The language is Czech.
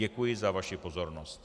Děkuji za vaši pozornost.